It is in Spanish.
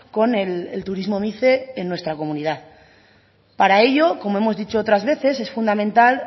con el turismo mice en nuestra comunidad para ello como hemos dicho otras veces es fundamental